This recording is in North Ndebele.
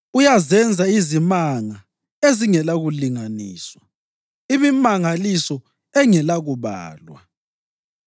Uyazenza izimanga ezingelakulinganiswa, imimangaliso engelakubalwa.